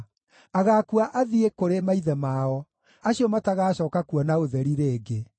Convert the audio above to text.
agakua athiĩ kũrĩ maithe mao, acio matagacooka kuona ũtheri rĩngĩ.